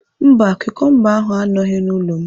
Mba, kukumba ahụ anọghị n'ụlọ m